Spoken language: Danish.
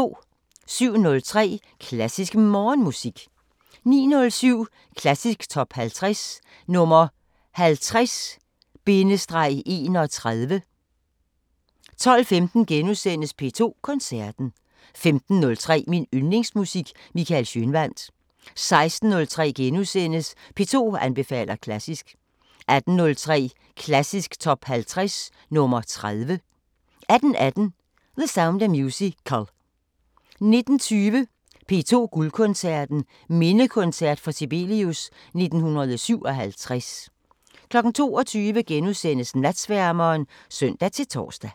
07:03: Klassisk Morgenmusik 09:07: Klassisk Top 50 – nr. 50-31 12:15: P2 Koncerten * 15:03: Min Yndlingsmusik: Michael Schønwandt 16:03: P2 anbefaler klassisk * 18:03: Klassisk Top 50 – nr. 30 18:18: The Sound of Musical 19:20: P2 Guldkoncerten: Mindekoncert for Sibelius 1957 22:00: Natsværmeren *(søn-tor)